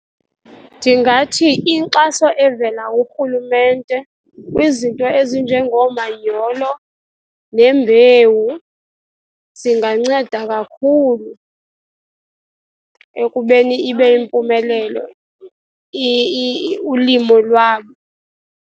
Ndingathi inkxaso evela kurhulumente kwizinto ezinjengoomanyolo nembewu zinganceda kakhulu ekubeni ibe yimpumelelo ulimo lwabo.